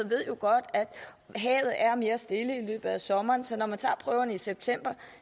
ved jo godt at havet er mere stille i løbet af sommeren så når man tager prøverne i september